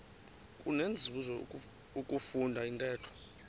kunenzuzo ukufunda intetho